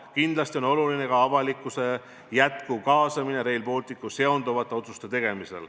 Kindlasti on oluline ka avalikkuse edasine kaasamine Rail Balticuga seonduvate otsuste tegemisse.